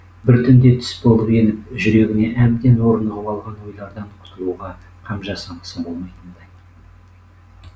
бір түнде түс болып еніп жүрегіне әбден орнығып алған ойлардан құтылуға қам жасамаса болмайтындай